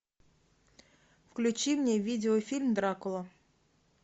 включи мне видеофильм дракула